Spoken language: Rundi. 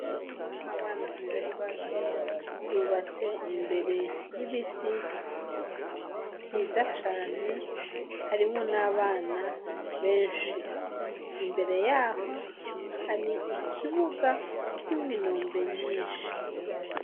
Ishure ririmwo abana atari bake rubatse imbere y'ibiti vyiza cane harimwo n'abana benshi ,imbere yaho hari ikibuga kirimwo inombe nyinshi.